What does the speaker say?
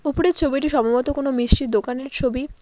উপরের ছবিটি সম্ভবত কোনো মিষ্টির দোকানের ছবি।